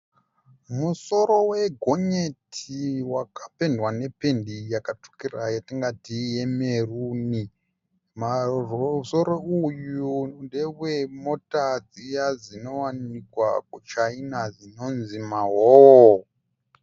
Musoro wegonyeti wakapendwa nependi yakatsvukira yatingati yemeruni. Musoro uyu ndewe mota dziya dzinowanikwa kuChina dzinonzi maHowo.